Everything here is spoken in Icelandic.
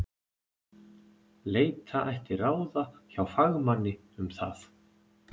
Leita ætti ráða hjá fagmanni um það.